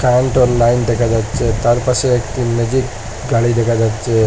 কারেন্টের লাইন দেখা যাচ্ছে তার পাশে একটি ম্যাজিক গাড়ি দেখা যাচ্ছে।